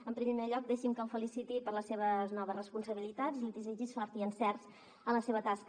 en primer lloc deixi’m que el feliciti per les seves noves responsabilitats i li desitgi sort i encerts en la seva tasca